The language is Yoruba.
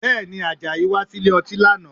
Bẹ́ẹ̀ni, Àjàyí wá sílè ọtí lánàá?